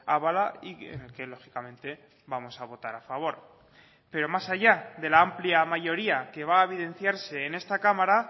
avala y que lógicamente vamos a votar a favor pero más allá de la amplia mayoría que va a evidenciarse en esta cámara